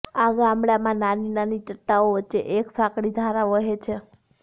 આ ગામડા મા નાની નાની ચટ્ટાનો વચ્ચે એક સાંકળી ધારા વહે છે